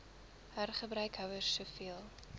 hergebruik houers soveel